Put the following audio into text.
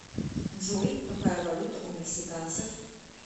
джой какая валюта у мексиканцев